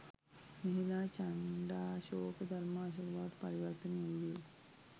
මෙහිලා චණ්ඩාශෝක ධර්මාශෝක බවට පරිවර්තනය වූයේ